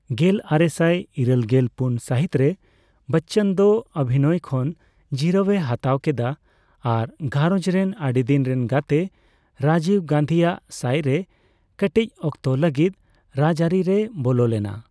ᱜᱮᱞᱟᱨᱮᱥᱟᱭ ᱤᱨᱟᱹᱞᱜᱮᱞ ᱯᱩᱱ ᱥᱟᱦᱤᱛ ᱨᱮ ᱵᱚᱪᱪᱚᱱ ᱫᱚ ᱚᱣᱤᱱᱚᱭ ᱠᱷᱚᱱ ᱡᱤᱨᱟᱹᱣᱼᱮ ᱦᱟᱛᱟᱣ ᱠᱮᱫᱟ ᱟᱨ ᱜᱷᱟᱨᱚᱡ ᱨᱮᱱ ᱟᱹᱰᱤᱫᱤᱱ ᱨᱮᱱ ᱜᱟᱛᱤ ᱨᱟᱡᱤᱵ ᱜᱟᱱᱫᱷᱤᱭᱟᱜ ᱥᱟᱭ ᱨᱮ ᱠᱟᱴᱤᱪ ᱚᱠᱛᱚ ᱞᱟᱹᱜᱤᱛ ᱨᱟᱡᱟᱹᱨᱤ ᱨᱮᱭ ᱵᱚᱞᱚᱞᱮᱱᱟ ᱾